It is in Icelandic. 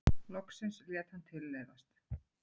Loksins lét hann tilleiðast.